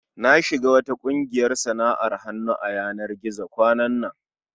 Na shiga wata ƙungiyar sana'ar hannu a yanar gizo kwanan nan.